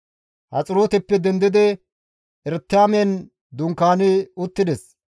Haxirooteppe dendidi Eretiman dunkaani uttides.